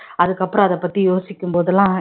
அதுக்கப்புறம் அத பத்தி யோசிக்கும் போதெல்லாம்